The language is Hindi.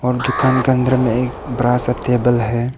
दुकान का अंदर में एक बड़ा सा टेबल है।